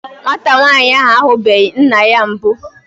Nwata nwaanyị ahụ ahubeghi nna ya mbụ.